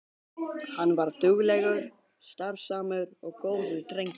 Hann var duglegur, starfsamur og góður drengur.